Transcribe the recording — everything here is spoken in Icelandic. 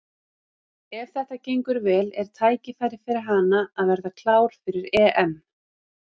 Ef þetta gengur vel er tækifæri fyrir hana að verða klár fyrir EM.